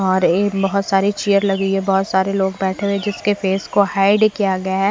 और ये बहुत सारी चेयर लगी हुई है बहुत सारे लोग बैठे हुए जिसके फेस को हाइड किया गया है।